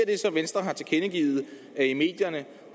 det som venstre har tilkendegivet i medierne